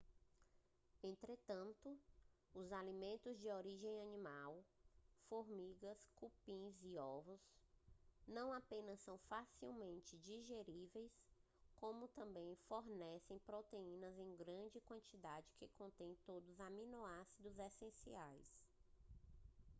entretanto os alimentos de origem animal formigas cupins ovos não apenas são facilmente digeríveis como também fornecem proteínas em grande quantidade que contêm todos os aminoácidos essenciais